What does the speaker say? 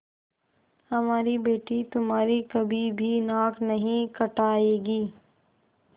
हमारी बेटी तुम्हारी कभी भी नाक नहीं कटायेगी